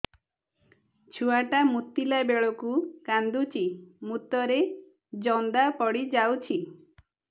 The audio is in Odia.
ଛୁଆ ଟା ମୁତିଲା ବେଳକୁ କାନ୍ଦୁଚି ମୁତ ରେ ଜନ୍ଦା ପଡ଼ି ଯାଉଛି